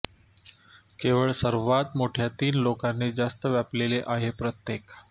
केवळ सर्वात मोठ्या तीन लोकांनी जास्त व्यापलेले आहे प्रत्येक